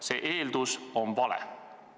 See eeldus on vale.